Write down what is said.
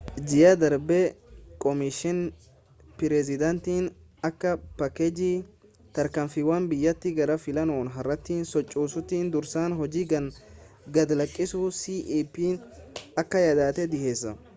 ji'a darbe koomishiniin pireezidaantii akka paakeejii tarkaanfiiwwan biyyattiii gara filannoo haaraatti sochoosuutti dursa hojii gad-lakkisuu cep akka yaadaatti dhiheesse